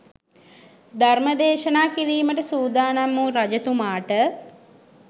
ධර්මදේශනා කිරීමට සූදානම් වූ රජතුමාට